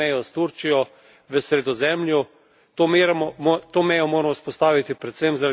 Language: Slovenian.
To mejo moramo vzpostaviti predvsem zaradi varnosti in bodočnosti naše celine.